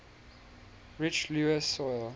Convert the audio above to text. rich loess soil